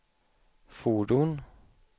fordon